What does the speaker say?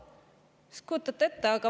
Kas kujutate ette?